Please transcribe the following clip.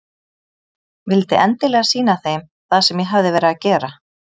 Vildi endilega sýna þeim það sem ég hafði verið að gera.